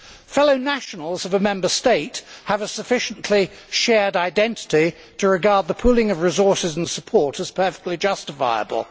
Fellow nationals of a Member State have a sufficiently shared identity to regard the pooling of resources and support as perfectly justifiable.